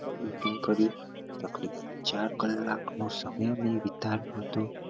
Hotel booking કરી તકરીબન ચાર કલાક નો સમય અમે વિતાડ્યો હતો